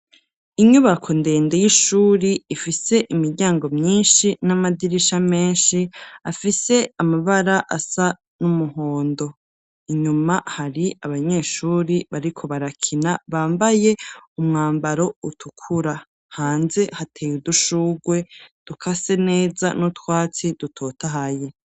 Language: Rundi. Inyubako ndende y'ishuri ifise imiryango myinshi n'amadirisha menshi afise amabara asa n'umuhondo. Inyuma hari abanyeshuri bariko barakina bambaye umwambaro utukura. Hanze hateye udushurwe dukase neza n' utwatsi dutotahaye.